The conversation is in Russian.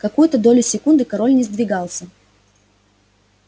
какую-то долю секунды король не сдвигался